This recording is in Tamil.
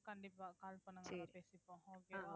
கண்டிப்பா call பண்ணுங்க பேசிப்போம்